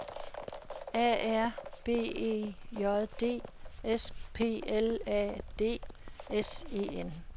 A R B E J D S P L A D S E N